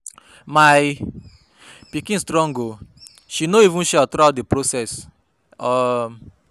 My pikin strong oo, she no even shout throughout the process um